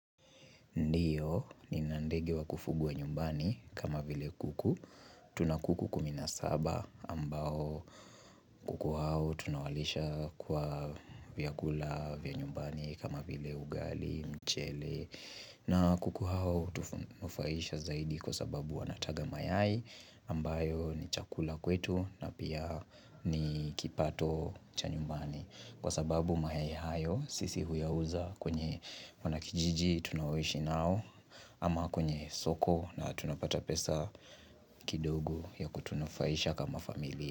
Ndiyo, nina ndege wa kufugwa nyumbani kama vile kuku. Tuna kuku kumi na saba ambao kuku hao tunawalisha kwa vyakula, vya nyumbani kama vile ugali, mchele. Na kuku hao tufuaisha zaidi kwa sababu wanataga mayai ambayo ni chakula kwetu na pia ni kipato cha nyumbani. Kwa sababu mayai hayo sisi huyauza kwenye wanakijiji tunaoishi nao Ama kwenye soko na tunapata pesa kidogo ya kutunafaisha kama familia.